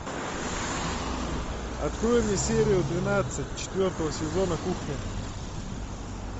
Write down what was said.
открой мне серию двенадцать четвертого сезона кухня